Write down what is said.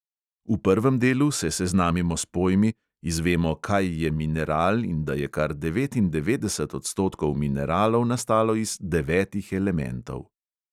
V prvem delu se seznamimo s pojmi, izvemo, kaj je mineral in da je kar devetindevetdeset odstotkov mineralov nastalo iz devetih elementov.